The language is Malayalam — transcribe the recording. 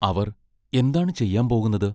അവർ എന്താണ് ചെയ്യാൻ പോകുന്നത്?